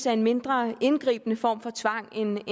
er en mindre indgribende form for tvang end